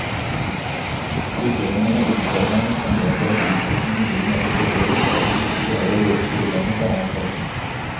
Problemene med omformerne kan medføre at utskiftingen vil måtte forseres, dersom vi ikke greier å løse problemet på annen måte.